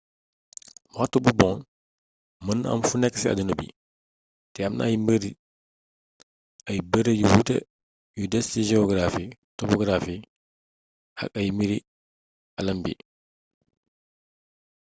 waxtu bu bon mën na am funé ci adduna bi té am na yu bëri yu wuuté yu desci geografi topografi ak ay mbiri aalam bi